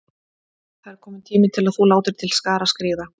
Það er kominn tími til að þú látir til skarar skríða.